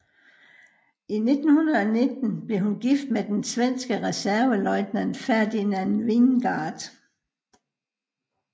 I 1919 blev hun gift med den svenske reserveløjtnant Ferdinand Wingårdh